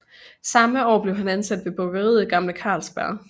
Samme år blev han ansat ved bryggeriet Gamle Carlsberg